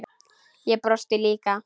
Og brosti líka.